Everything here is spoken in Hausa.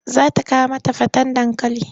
Za ta kawo mata faten dankali.